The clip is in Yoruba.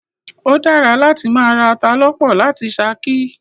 O dára láti máa ra ata lọ́pọ̀ láti ṣakí.